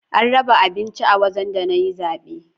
An raba abinci a wajen da na yi zabe